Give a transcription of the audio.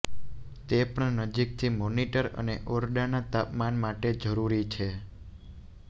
તે પણ નજીકથી મોનીટર અને ઓરડાના તાપમાને માટે જરૂરી છે